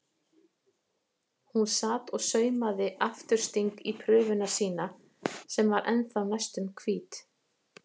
Hún sat og saumaði aftursting í prufuna sína sem var ennþá næstum hvít.